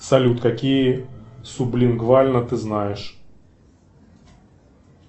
салют какие сублингвально ты знаешь